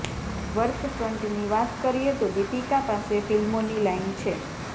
વર્કફ્રન્ટની વાત કરીએ તો દીપિકા પાસે ફિલ્મોની લાઇન છે